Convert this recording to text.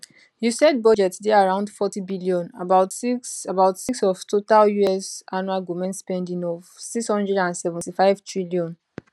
usaid budget dey around 40bn about 06 about 06 of total us annual goment spending of 675tn